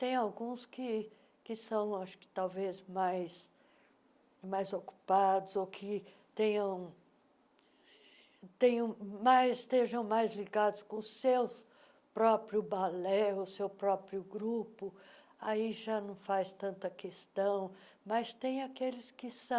Tem alguns que que são acho que talvez mais mais ocupados ou que tenham tenham mais estejam mais ligados com o seu próprio balé, ou seu próprio grupo, aí já não faz tanta questão, mas tem aqueles que são,